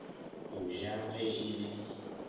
go ja ge e le